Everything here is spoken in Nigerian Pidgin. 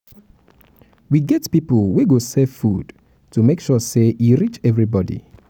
we get pipo wey go serve food make sure sey e reach everybodi.